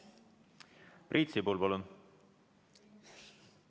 Priit Sibul, palun!